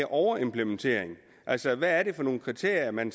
overimplementering altså hvad er det for nogle kriterier man